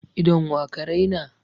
Idon wa ka raina?